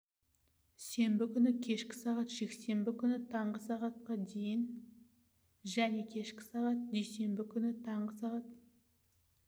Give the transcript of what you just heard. сенбі күні кешкі сағ жексенбі күні таңғы сағ дейін және кешкі сағ дүйсенбі күні таңғы сағ